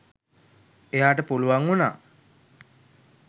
එයාට පුළුවන් වුණා.